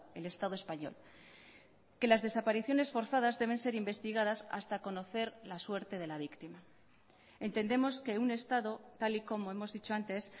el estado español que las desapariciones forzadas deben ser investigadas hasta conocer la suerte de la víctima entendemos que un estado tal y como hemos dicho antes